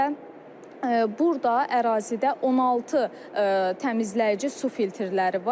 Və burda ərazidə 16 təmizləyici su filtrləri var.